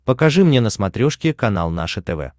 покажи мне на смотрешке канал наше тв